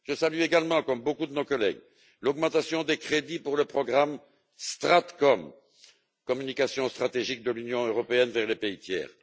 Je salue également comme beaucoup de nos collègues l'augmentation des crédits pour le programme Stratcom, communication stratégique de l'Union européenne vers les pays tiers.